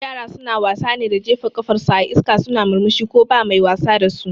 Yara suna wasa ne da jefa kafar su a iska suna murmushi ko ba mai wasa dasu